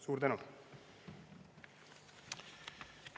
Suur tänu!